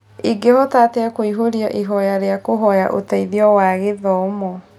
Ingĩhota atĩa kuihũria ihoya rĩa kũhoya ũteithio wa gĩthomo